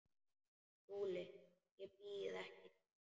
SKÚLI: Ég býð ekki neitt.